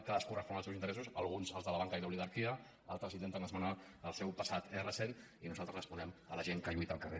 cadascú respon als seus interessos alguns als de la banca i l’oligarquia altres intenten esmenar el seu passat recent i nosaltres responem a la gent que lluita al carrer